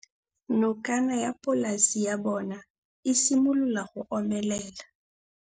Nokana ya polase ya bona, e simolola go omelela.